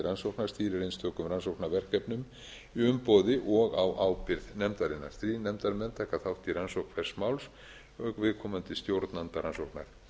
rannsókna stýrir einstökum rannsóknarverkefnum í umboði og á ábyrgð nefndarinnar þrír nefndarmenn taka þátt í rannsókn hvers máls auk viðkomandi stjórnanda rannsóknar